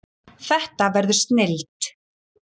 Þetta verður snilld